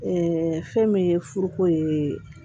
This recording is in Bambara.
fɛn min ye furuko ye